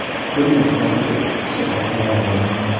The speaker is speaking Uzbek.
Buning oqibatida ikki kishi og‘ir yaralangan.